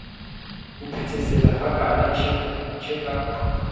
ho phethesela hakana tjhe ka